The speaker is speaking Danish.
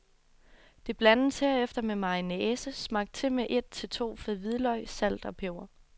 Det blandes herefter med mayonnaise, smagt til med et til to fed hvidløg, salt og peber.